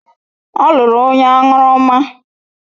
Ọ lụrụ onye aṅụrụma.